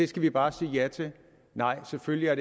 skal vi bare sige ja til nej selvfølgelig er